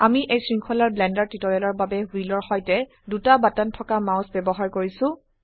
আমি এই শৃঙ্খলাৰ ব্লেন্ডাৰ টিউটোৰিয়েলৰবাবে হুইলৰ সৈতে 2 বাটন থকা মাউস ব্যবহাৰ কৰিছো